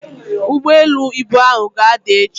ugboelu ibu ahu ga-ada echi.